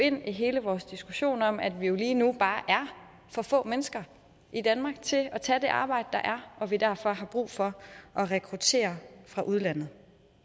ind i hele vores diskussion om at vi lige nu bare er for få mennesker i danmark til at tage det arbejde der og at vi derfor har brug for at rekruttere fra udlandet